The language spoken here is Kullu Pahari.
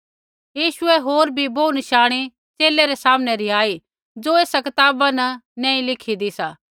यीशुऐ होर भी बोहू नशाणी च़ेले रै सामने रिहाई ज़ो ऐसा कताबा न नैंई लिखेदे सी